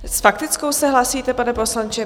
S faktickou se hlásíte, pane poslanče?